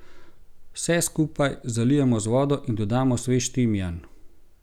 Vse skupaj zalijemo z vodo in dodamo svež timijan.